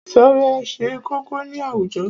Ìṣọ̀rẹ́ ṣe kókó ní àwùjọ.